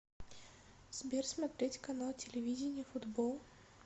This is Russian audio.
сбер смотреть канал телевидения футбол